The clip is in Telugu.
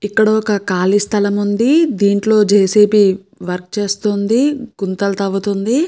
ఇక్కడొక ఖాళీ స్థలం ఉంది. దీంట్లో జె. సి. బీ. వర్క్ చేస్తుంది. గుంతలు తవ్వుతుంది.